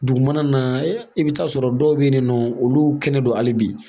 Dugu mana na i bɛ taa sɔrɔ dɔw bɛ yen nɔ olu kɛnɛ don hali bi